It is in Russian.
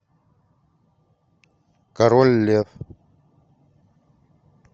король лев